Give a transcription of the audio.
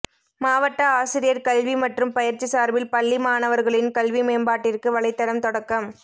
மாவட்ட ஆசிரியர் கல்வி மற்றும் பயிற்சி சார்பில் பள்ளி மாணவர்களின் கல்வி மேம்பாட்டிற்கு வலைத்தளம் தொடக்கம்